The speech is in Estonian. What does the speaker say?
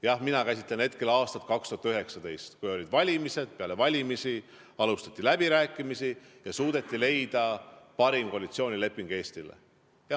Jah, mina käsitlen hetkel aastat 2019, kui olid valimised, peale valimisi alustati läbirääkimisi ja suudeti leida parim koalitsioonileping Eestile.